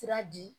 Sira di